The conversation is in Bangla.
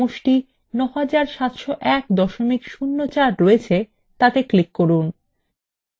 যে cellএ সমষ্টি ৯৭০১ ০৪ রয়েছে তাতে click করুন